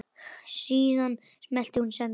Síðan smellti hún á send.